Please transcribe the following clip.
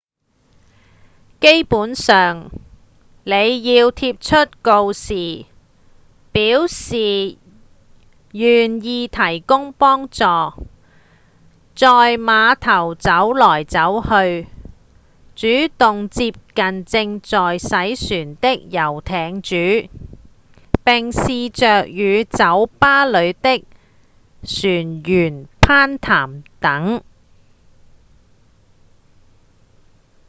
基本上您要貼出告示表示願意提供幫助、在碼頭走來走去、主動接近正在洗船的遊艇主並試著與酒吧裡的船員攀談等